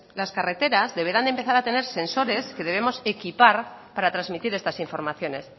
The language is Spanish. las carreteras deberán de empezar a tener sensores que debemos equipar para transmitir estas informaciones